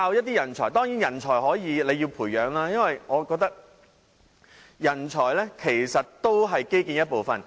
當然，人才可以培養，因為我覺得人才也是基建的一部分。